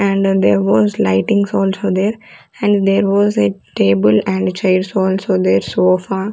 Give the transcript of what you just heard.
and there was lightings also there and there was a table and chairs also there so --